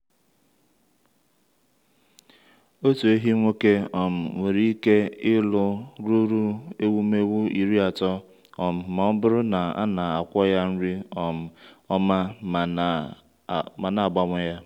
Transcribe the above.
otu ehi nwoke um nwere ike ịlụ ruru ewumewụ iri atọ um ma ọ bụrụ na e na-akwọ ya nri um ọma ma na-agbanwe ya.